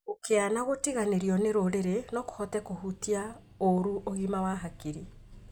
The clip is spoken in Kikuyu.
Ũkĩa na gũtiganĩrio nĩ rũrĩrĩ no kũhote kũhutia ũru ũgima wa hakiri